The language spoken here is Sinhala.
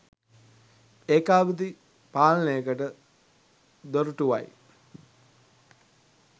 ඒකාධිපති පාලනයකට දොර‍ටුවයි.